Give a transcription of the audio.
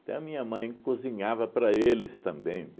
Até a minha mãe cozinhava para eles também.